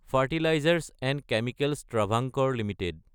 fertilisers & chemicals Travancore Ltd